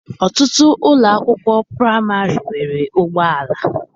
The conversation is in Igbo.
Ọtụtụ ụlọ akwụkwọ praịmarị nwere ụgbọala.